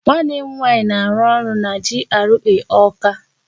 Nwanne m nwaanyị na-arụ ọrụ na GRA Ọọka.